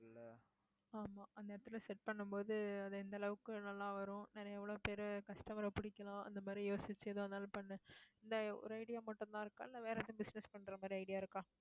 ஆமா அந்த இடத்துல set பண்ணும் போது, அது எந்த அளவுக்கு நல்லா வரும் நிறைய எவ்வளவு பேரு customer அ பிடிக்கலாம் அந்த மாதிரி யோசிச்சு எதுவா இருந்தாலும் பண்ணு இந்த ஒரு idea மட்டும்தான் இருக்கா இல்லை, வேற எதுவும் business பண்ற மாதிரி idea இருக்கா